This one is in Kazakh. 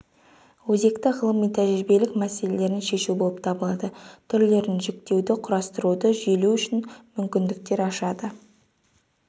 өзекті ғылыми-тәжірибелік мәселелерін шешу болып табылады түрлерін жіктеуді құрастыруды жүйелеу үшін мүмкіндіктер ашады